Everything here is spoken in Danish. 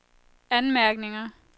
anmærkninger